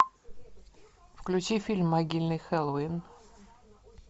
включи фильм могильный хэллоуин